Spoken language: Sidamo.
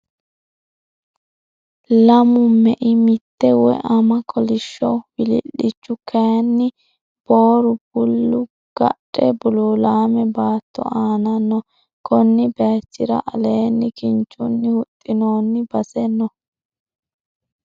Lamu mei mitte woy ama kolishsho wilii'lichu kaaynni booru bulli gadhe buluulaame baatto aana no. Konni baaychira aleenni kinchunni huxxinoonni base no.